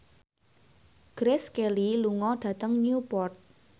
Grace Kelly lunga dhateng Newport